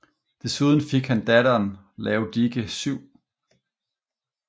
Desuden fik han datteren Laodike 7